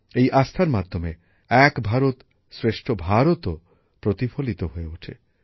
এই আস্থার মাধ্যমে এক ভারত শ্রেষ্ঠ ভারতও প্রতিফলিত হয়ে ওঠে